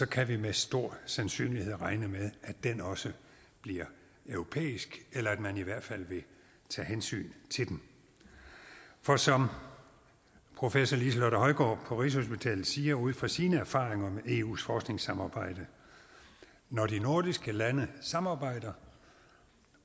kan vi med stor sandsynlighed regne med at den også bliver europæisk eller at man i hvert fald vil tage hensyn til den for som professor liselotte højgaard på rigshospitalet siger ud fra sine erfaringer med eus forskningssamarbejde når de nordiske lande samarbejder